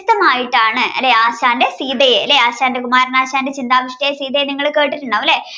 ആയിട്ടാണ് അല്ലേ ആശാൻറെ സീതയെ അല്ലേ കുമാരനാശാൻറെ ചിന്താവിഷ്ടയായ സീതയെ നിങ്ങൾ കേട്ടിട്ടുണ്ടാവും അല്ലേ